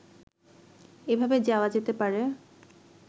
এভাবে যাওয়া যেতে পারে